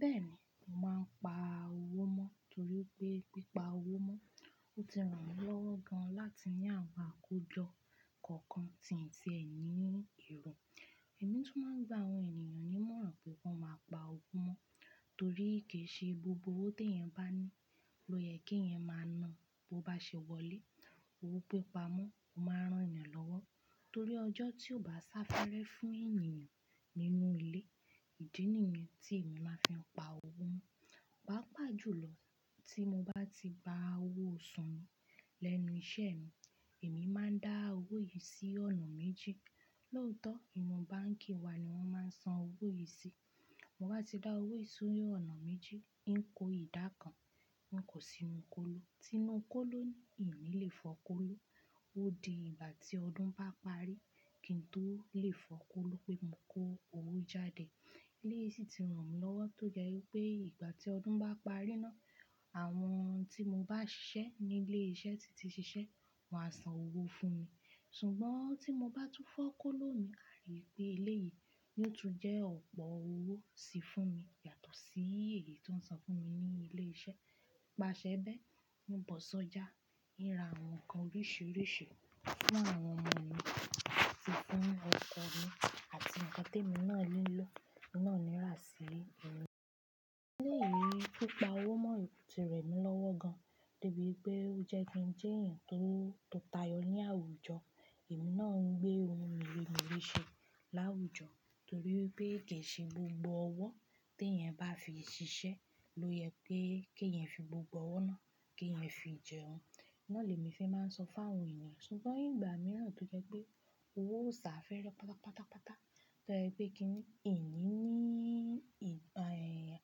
Bẹ́ẹ̀ni, mo máa ń pa owó mọ́ torí pé pípa owó mọ́, ó ti ràn mí lọ́wọ́ gan-an láti ní àwọn àkójọ kọ̀ọ̀kan tí n ti ẹ ní èrò. Ẹ̀mí tún máa ń gba àwọn ènìyàn ní ìmọ̀ràn pé kan máa pa owó mọ́ torí kì í ṣe gbogbo owó tí ẹ̀yan bá ní ló yẹ kí ẹ̀yan máa nàá. Bó bá ṣe wọlé, owó pípa mọ́ ó máa rán yan lọ́wọ́ torí ọjọ́ tí ò bá sá fẹ́rẹ fún ènìyàn nínú ilé, ìdí nìyẹn tí èmi máa fi ń pa owó mọ́. Pàápàá jùlọ, tí mo bá ti gba owó oṣù mi lẹ́nu iṣẹ́ mi, èmi máa ń dá owó yìí sí ọ̀nà méjì. Lóòótọ́, ìnú báǹkì wa ni wọ́n máa ń san owó yìí sí. Mo bá ti dá owó yìí sí orí ọ̀nà méjì, ń kó ìdá kan, ń kó sí inú kóló. Tínú kóló ni, in nile fọ kóló. Ó di ìgbà tí ọdún bá parí kí n tó lè fọ kóló pé mo kó owó jáde. Eléyìí sì ti ràn mí lọ́wọ́ tó jẹ́ wípé ìgbà tí ọdún bá parí ná, àwọn tí mo bá ṣiṣẹ́ ní ilé iṣẹ́ tí ti ṣiṣẹ́, wọ́n á san owó fún mi. Ṣùgbọ́n tí mo bá tún fọ kóló mi, àrípé eléyìí yóò tún jẹ́ ọ̀pọ̀ owó sí fún mi yàtọ̀ sí èyí tí wọ́n san fún mi ní ilé iṣẹ́. Nípa ṣẹ bẹ́, mo bọ̀ sọ́jà, ń ra àwọn nǹkan oríṣiríṣi fún àwọn ọmọ mi sì fún ọkọ mi àti ǹkan tí èmi náà nílò náà ni rà sí inú ilé. Eléyìí pípa owó mọ́ ti ràn mí lọ́wọ́ gan-an débi pé ó jẹ́ kí n jẹ́ èèyàn tó, tó tayọ ní àwùjọ. Ẹ̀mí náà ń gbé ohun mèremère ṣe láwùjọ torí wípé kì í ṣe gbogbo owó tí ẹ̀yin bá fi ṣiṣẹ́ ló yẹ pé kí ẹ̀yan fi gbogbo owó náà kí ẹ̀yan fi jẹun. Ná lèmi fẹ́ máa ń sọ fáwọn ènìyàn. Ṣùgbọ́n ìgbà mìíràn tó jẹ́ pé owó ò sá fẹ́rẹ pátápátá pátápátá, tó jẹ́ pé kí ní, in ní ì--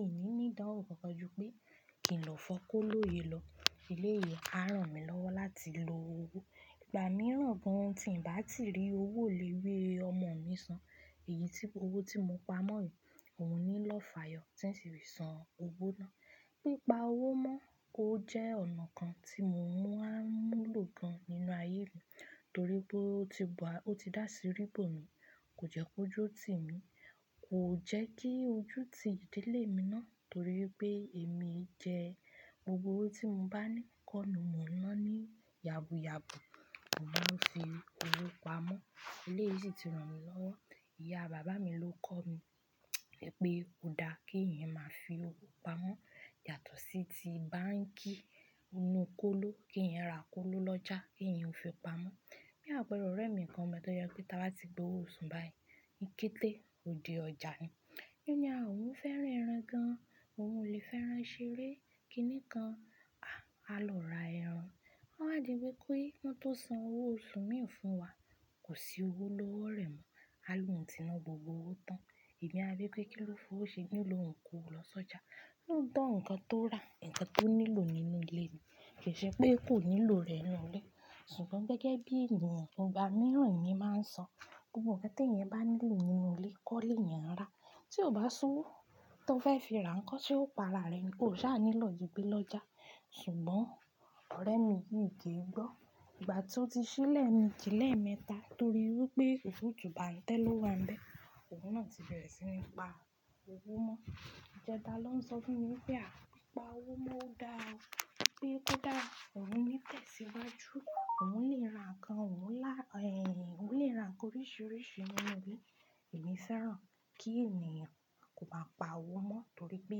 in ni ní ìdánwò kọ̀ọ̀kan ju pé kí n lọ fọ kóló yìí lọ. Ilé yìí á ràn mí lọ́wọ́ láti lo owó. Ìgbà mìíràn gan-an tí ń bá ti rí owó iléwé ọmọ mi san, èyí tí, owó tí mo pa mọ́ yìí, òun ní lọ fààyọ̀ tí ń ṣi fi san owó náà. Pípa owó mọ́ ó jẹ́ ọ̀nà kan tí mo mú máa múlò gan nínú ayé mi torí pé ó ti ba, ó ti dà sí rí bọ̀ mi, kò jẹ́ kó ju o tì mí, kò jẹ́ kí ojú ti ìdílé mi ná torí pé èmi jẹ gbogbo owó tí mo bá ní kọ́ ni mò ń ná ní yàbùyàbù. Òun ló fi owó pa mọ́. Eléyìí sì ti ràn mí lọ́wọ́. Ìyá bàbá mi ló kọ́ mi wípé pé kò dá kí ẹ̀yan máa fi owó pa mọ́ yàtọ̀ sí ti báǹkì, inú kóló, kí ẹ̀yin ra kóló lọ́jà, kí ẹ̀yin ó fi pa mọ́. Bí àpẹẹrẹ ọ̀rẹ́ mi kan mbẹ̀ tó yẹ pé táa bá ti gba owó oṣù báyìí, kí n tẹ́, ó di ọjà ni. Yi ó ní ah òun fẹ́ràn ẹran gan-an, òun ò lè fẹ́ràn ṣeré kí nìkan, àh a lọ ra ẹran. Ó wà dí bí pé wọ́n tó san owó oṣù mi fún wa, kò sí owó lọ́wọ́ rẹ́ mo. A lóun tì ná gbogbo owó tán. Ẹ̀mí a bí pé kí ló fi ówo ṣe? Yi ó lóun kówó lọ sọ́jà. Lóòótọ́ ǹkan tó rà, ǹkan tó nílò nínú ilé ni, kì í ṣe pé kò nílò rẹ̀ nú ilé. Ṣùgbọ́n gẹ́gẹ́ bí ènìyàn, ìgbà mìíràn èmi máa ń sọ, gbogbo ǹkan tí ẹ̀yan bá nílò nínú ilé, kọ́ lé eyan ń rà. Tí ó bá sówó tó fẹ́ fi ra nkọ́ ṣe ó pa ara rẹ ni? Ó ṣá nílò jígbé lọ́jà. Ṣùgbọ́n ọ̀rẹ́ mi yìí kì í gbọ́. Ìgbà tí ó ti ṣe lẹ́meeji lẹ́ẹ̀mẹta torí wípé òfuutu bàa ń tẹ́ lọ́wa ń bẹ, òun náà ti bẹ̀rẹ̀ sí ní pa owó mọ́. Ìjẹta ló ń sọ fún mi wípé, "À pi pa owó mọ́ ó dáa o." pé kò dá, òun ní tẹ̀síwájú, òun lè ra ǹkan, òun lá-- èè, òun lè ra ǹkan oríṣiríṣi nínú ilé. Ẹ̀mí feeran kí ènìyàn kò máa pa owó mọ́ torí pé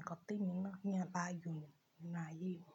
ǹkan tí èmi náà yan láyọ̀ ni nínú ayé mi.